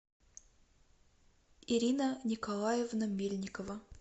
ирина николаевна мельникова